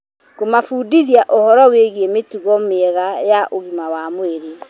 Kũmabundithia ũhoro wĩĩgie mĩtugo mĩega ya ũgima wa mwĩrĩ,